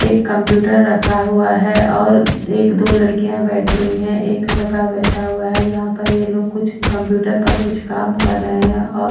एक कंप्यूटर रखा हुआ है और अ एक दो लड़कियां बैठी हुई हैं एक लड़का बैठा हुआ है जहां पर ये लोग कुछ कंप्यूटर पर कुछ काम कर रहे हैं और --